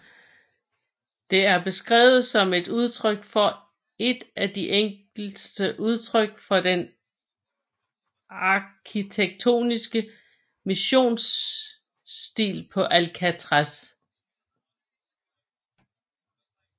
Det er beskrevet som et udtryk for et af de enkleste udtryk for den arkitektoniske missionsstil på Alcatraz